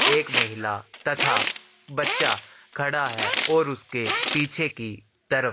एक महिला तथा बच्चा खड़ा है और उसके पीछे की तरफ--